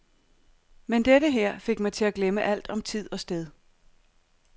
Men dette her fik mig til at glemme alt om tid og sted.